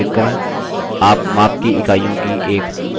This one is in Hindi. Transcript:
आप माप की इकाइयों की एक सूची देखेंगे